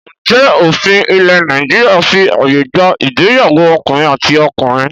Ǹjẹ́ òfin ilẹ̀ Nàìjíríà fí ààyè gba ìgbéyàwó ọkùnrin àti ọkùnrin?